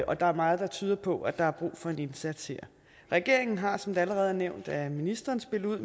og der er meget der tyder på at der er brug for en indsats her regeringen har som det allerede er nævnt af ministeren spillet ud